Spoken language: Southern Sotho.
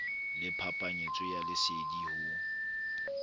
le phapanyetsano ya lesedi ho